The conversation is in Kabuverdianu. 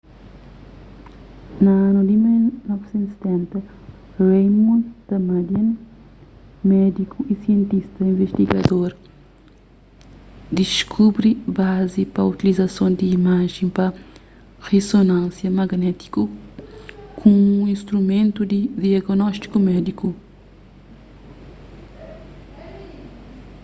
na anu di 1970 raymond damadian médiku y sientista invistigador diskubri bazi pa utilizason di imajen pa rizonánsia magnétiku kumu instrumentu di diagnóstiku médiku